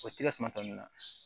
O tɛ ka suma tɔ ninnu na